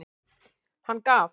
Hann gaf.